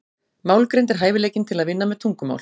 Málgreind er hæfileikinn til að vinna með tungumál.